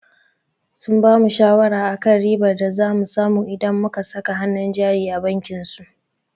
Sun bamu shawara akan ribar da za mu samu idan muka saka hannun jari a bankin su.